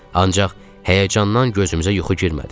Ancaq həyəcandan gözümüzə yuxu girmədi.